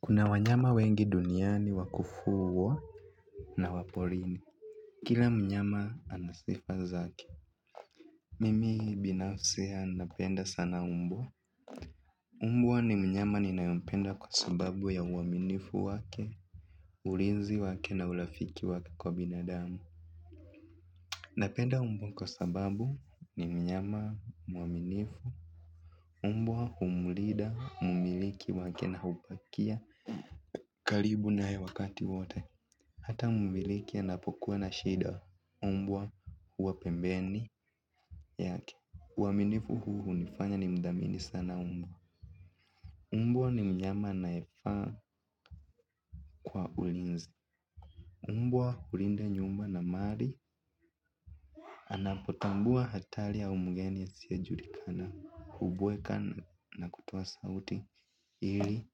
Kuna wanyama wengi duniani wakufugwa na waporini. Kila mnyama anasifazake. Mimi binafsi napenda sana mbwa. Mbwa ni mnyama ni nayempenda kwa sababu ya uaminifu wake, ulizi wake na urafiki wake kwa binadamu. Napenda mbwa kwa sababu ni mnyama mwaminifu. Mbwa humlinda mmiliki wake na upakia karibu na yewakati wote. Hata mmiliki anapokuwa na shida mbwa huwa pembeni yake uaminifu huu hunifanya ni mdhamini sana mbwa mbwa ni mnyama ana yefaa kwa ulinzi mbwa hulinda nyumba na mali. Anapotambua hatari au mgeni a siyejulikana. Hubweka na kutoa sauti ili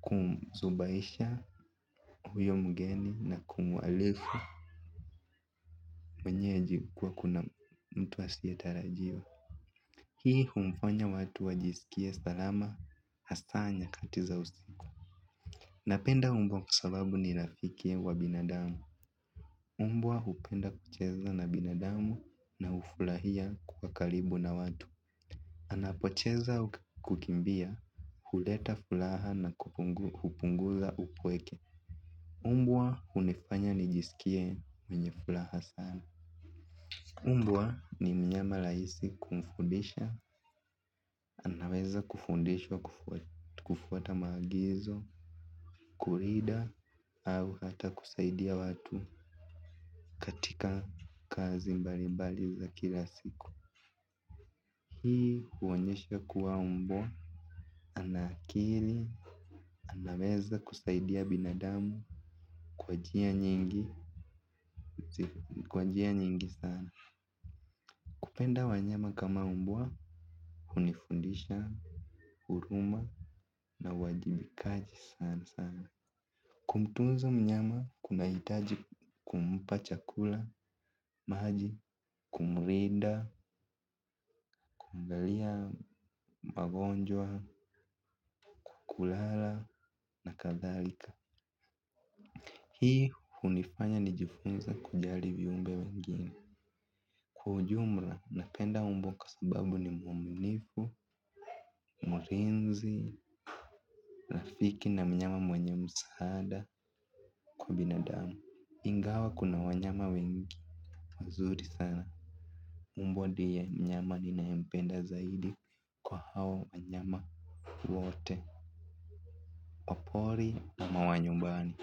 kumzubaisha huyo mgeni na kumwalifu mwenyeji kuwa kuna mtua siyetarajiwa. Hii humfanya watu wajisikie salama hasanya katiza usiku. Napenda mbwa kwasababu nirafiki wa binadamu mbwa hupenda kucheza na binadamu na hufurahia kuwa karibu na watu unapocheza kukimbia huleta furaha na hupunguza upweke mbwa hunifanya nijisikie mwenye furaha sana mbwa ni mnyama rahisi kumfundisha, anaweza kufundishwa kufuata maagizo, kulinda, au hata kusaidia watu katika kazi mbali mbali za kila siku. Hii huonyesha kuwa mbwa anaakili, anaweza kusaidia binadamu, kwa njia nyingi sana. Kupenda wanyama kama mbwa, hunifundisha, huruma na uwajibikaji sana sana. Kumtunza mnyama kuna hitaji kumpa chakula, maji, kumlinda, kuangalia, magonjwa, kulala na kadharika. Hii hunifanya nijifunze kujalivi umbe wengine. Kwaujumla, napenda mbwa kwa sababu ni mwaminifu, mlinzi, rafiki na mnyama mwenye msaada kwa binadamu ingawa kuna wanyama wengi, wazuri sana mbwa ndiye mnyama ni nayempenda zaidi kwaha wanyama wote, wapori na mawanyumbani.